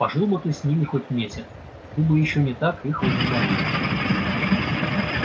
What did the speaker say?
пожил бы ты с ними хоть месяц ты бы ещё не так их возненавидел